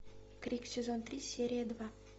крик сезон три серия два